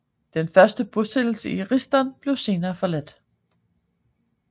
Den første bosættelse i Risdon blev senere forladt